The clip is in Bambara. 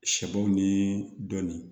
Sɛbo ni dɔnni